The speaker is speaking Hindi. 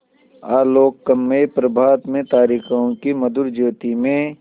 आलोकमय प्रभात में तारिकाओं की मधुर ज्योति में